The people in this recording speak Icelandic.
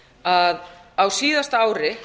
að á síðasta ári